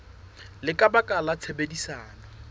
le ka baka la tshebedisano